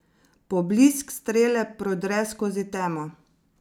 Poblisk strele prodre skozi temo.